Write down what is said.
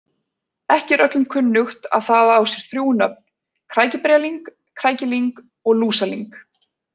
Ekki er öllum kunnugt að það á sér þrjú nöfn, krækiberjalyng, krækilyng og lúsalyng.